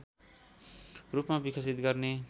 रूपमा विकसित गर्ने